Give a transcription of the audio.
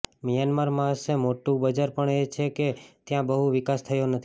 Myanmar પાસે મોટું બજાર પણ છે કેમ કે ત્યાં બહુ વિકાસ થયો નથી